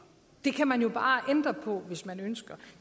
det kan man jo bare ændre på hvis man ønsker